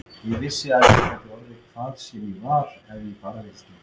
Ég vissi að ég gat orðið hvað sem var ef ég bara vildi.